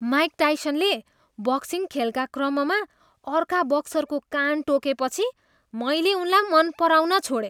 Mic टाइसनले boxing खेलका क्रममा अर्का बक्सरको कान टोकेपछि मैले उनलाई मन पराउन छोडेँ।